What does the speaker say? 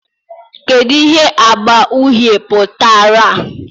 kedu ihe agba uhie pụtara